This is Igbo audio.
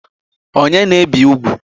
Onye na-ebi ugwu?